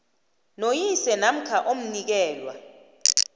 noyise namkha omnikelwa